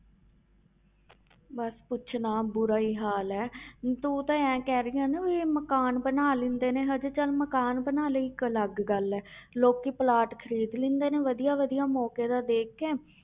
ਬਸ ਪੁੱਛ ਨਾ ਬੁਰਾ ਹੀ ਹਾਲ ਹੈ ਤੂੰ ਤਾਂ ਇਉਂ ਕਹਿ ਰਹੀ ਆਂ ਨਾ ਵੀ ਮਕਾਨ ਬਣਾ ਲੈਂਦੇ ਨੇ ਹਜੇ ਚੱਲ ਮਕਾਨ ਬਣਾ ਲਏ ਇੱਕ ਅਲੱਗ ਗੱਲ ਹੈ ਲੋਕੀ ਪਲਾਟ ਖ਼ਰੀਦ ਲੈਂਦੇ ਨੇ ਵਧੀਆ ਵਧੀਆ ਮੌਕੇ ਦਾ ਦੇਖ ਕੇ